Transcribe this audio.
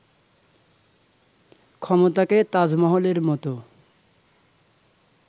ক্ষমতাকে 'তাজমহল'-এর মতো